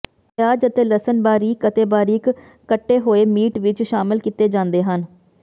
ਪਿਆਜ਼ ਅਤੇ ਲਸਣ ਬਾਰੀਕ ਅਤੇ ਬਾਰੀਕ ਕੱਟੇ ਹੋਏ ਮੀਟ ਵਿੱਚ ਸ਼ਾਮਲ ਕੀਤੇ ਜਾਂਦੇ ਹਨ